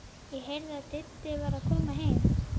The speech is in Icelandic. Ég heyrði að Diddi var að koma heim.